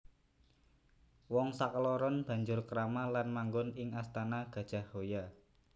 Wong sakloron banjur krama lan manggon ing astana Gajahhoya